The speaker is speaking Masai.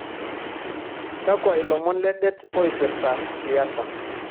kakua ilomon ledet oipirta siasa